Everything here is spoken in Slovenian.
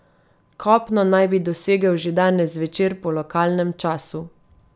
Kopno naj bi dosegel že danes zvečer po lokalnem času.